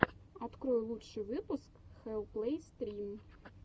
открой лучший выпуск хэлл плэй стрим